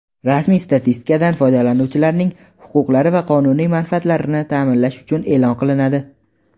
rasmiy statistikadan foydalanuvchilarning huquqlari va qonuniy manfaatlarini taʼminlash uchun eʼlon qilinadi.